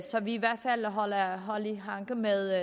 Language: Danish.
vi i hvert fald holder hånd i hanke med